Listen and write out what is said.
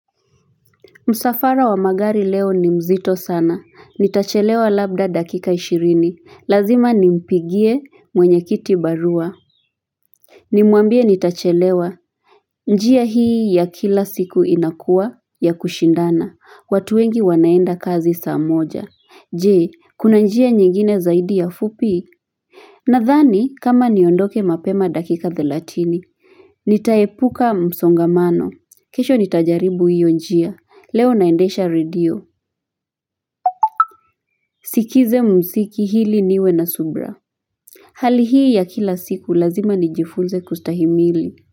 Msafara wa magari leo ni mzito sana. Nitachelewa labda dakika ishirini. Lazima nimpigie mwenyekiti barua. Nimwambie nitachelewa. Njia hii ya kila siku inakua ya kushindana. Watu wengi wanaenda kazi saa moja. Jee, kuna njia nyingine zaidi ya fupi? Nadhani, kama niondoke mapema dakika thelathini. Nitaepuka msongamano. Kesho nitajaribu hiyo njia. Leo naendesha radio. Sikiza muziki ili niwe na subra Hali hii ya kila siku lazima nijifunze kustahimili.